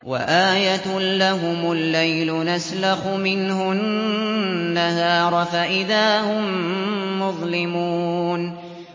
وَآيَةٌ لَّهُمُ اللَّيْلُ نَسْلَخُ مِنْهُ النَّهَارَ فَإِذَا هُم مُّظْلِمُونَ